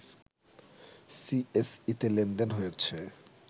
সিএসইতে লেনদেন হয়েছে